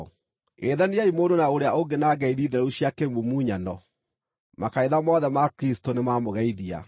Geithaniai mũndũ na ũrĩa ũngĩ na ngeithi theru cia kĩmumunyano. Makanitha mothe ma Kristũ nĩmamũgeithia.